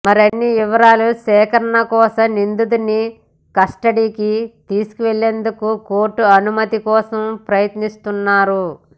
మరిన్ని వివరాల సేకరణ కోసం నిందితుడిని కస్టడీకి తీసుకునేందుకు కోర్టు అనుమతి కోసం ప్రయత్నిస్తున్నారు